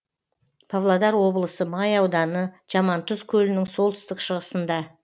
павлодар облысы май ауданы жамантұз көлінің солтүстік шығысында